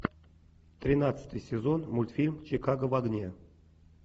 тринадцатый сезон мультфильм чикаго в огне